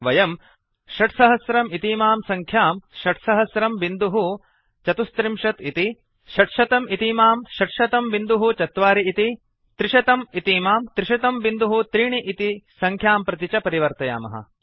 वयम् 6000 इतीमां संख्याम् 600034 इति 600 इतीमां 6004 इति 300 इतीमां 3003 इति संख्यां प्रति च परिवर्तयामः